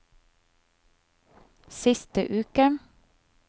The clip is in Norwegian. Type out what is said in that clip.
siste uke